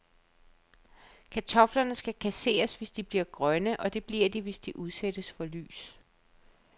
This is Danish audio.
Kartofler skal kasseres, hvis de bliver grønne, og det bliver de, hvis de udsættes for lys.